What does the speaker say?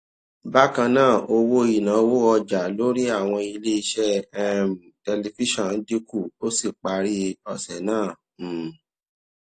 bákan náà owó ìnáwó ọjà lórí àwọn iléeṣẹ um tẹlifíṣòn dín kù ó sì parí òsè náà um